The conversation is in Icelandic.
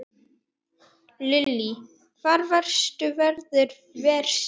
Lillý: Hvar verður veðrið verst?